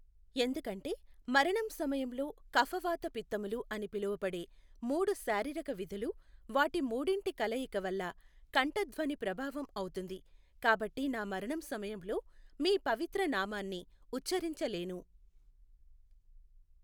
ఎందుకంటే మరణం సమయంలో కఫవాతపిత్తములు అని పిలువబడే మూడు శారీరక విధులు వాటి మూడింటి కలయిక వల్ల కంఠధ్వని ప్రభావం అవుతుంది కాబట్టి నా మరణం సమయంలో మీ పవిత్ర నామాన్ని ఉచ్చరించలేను.